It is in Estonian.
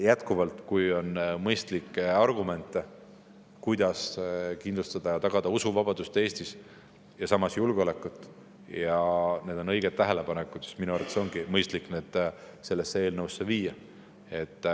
Jätkuvalt: kui on mõistlikke argumente, kuidas kindlustada, tagada Eestis usuvabadus ja samas ka julgeolek, ja kui need on õiged tähelepanekud, siis minu arvates on mõistlik need sellesse eelnõusse sisse viia.